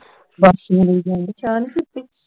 ਵਾਸੀਆਂ ਲਈ ਜਾਂਦੇ ਚਾ ਨਹੀਂ ਪੀਤੀ